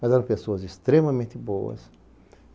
Mas eram pessoas extremamente boas.